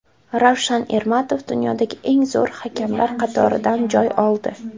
Ravshan Ermatov dunyodagi eng zo‘r hakamlar qatoridan joy oldi.